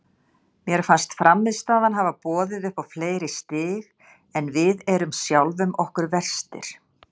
Mér fannst frammistaðan hafa boðið upp á fleiri stig en við erum sjálfum okkur verstir.